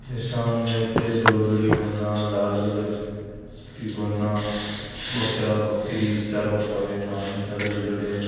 ए सामने धोली धोली धोना लाल कलर की घोना बकरा बकरी चारों --